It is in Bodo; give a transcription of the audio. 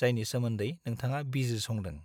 जायनि सोमोन्दै नोंथाङा बिजिरसंदों।